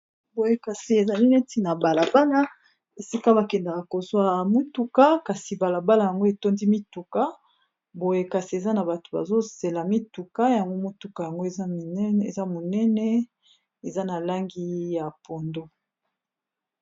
boyekasi ezali neti na mbala pana esika bakendaka kozwa mituka kasi balabala yango etondi mituka boyekasi eza na bato bazozela mituka yango motuka yango eza monene eza na langi ya pondo